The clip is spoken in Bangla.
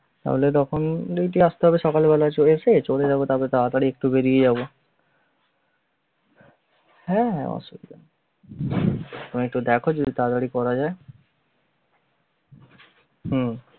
পারলে যখন ওই class করে সকাল বেলা এসে চলে যাব তবে তাড়াতাড়ি একটু বেরিয়ে যাবো হ্যা~ অসুবিধা তুমি একটু দেখো যদি তাড়াতাড়ি করা যায় হম